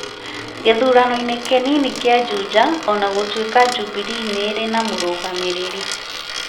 gĩthurano-inĩ kĩnini kĩa Juja, o na gũtuĩka Jubilee nĩ ĩrĩ na mũrũgamĩrĩri.